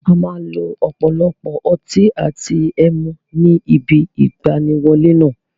A máa lo ọ̀pọ̀lọpọ̀ ọtí àti ẹmu ní ibi ìgbaniwọlé náà.